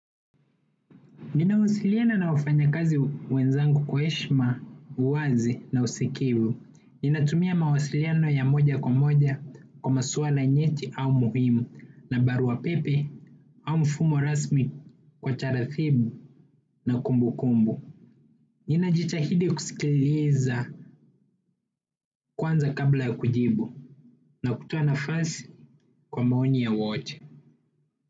Ninawasiliana na wafanyikazi wenzangu kwa heshima, uwazi na usikivu. Ninatumia mawasiliano ya moja kwa moja kwa maswala nyeti au muhimu na barua pepe au mfumo rasmi kwa taratibu na kumbukumbu. Ninajitahidi kusikiliza kwanza kabla ya kujibu na kutoa nafasi kwa maoni ya wote.